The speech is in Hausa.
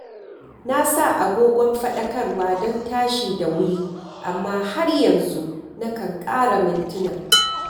Na sa agogon faɗakarwa don tashi da wuri, amma har yanzu nakan ƙara mintuna.